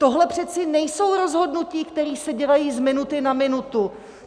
Tohle přeci nejsou rozhodnutí, která se dělají z minuty na minutu!